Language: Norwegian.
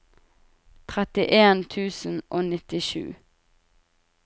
trettien tusen og nittisju